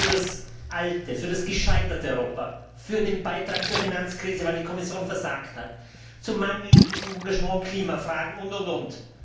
Sie stehen für das alte, für das gescheiterte Europa, für den Beitrag zur Finanzkrise, weil die Kommission versagt hat, für mangelndes Engagement in Klimafragen und und und.